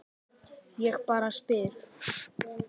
Ég bara spyr